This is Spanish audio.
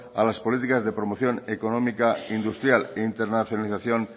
a las políticas de promoción económica industrial e internacionalización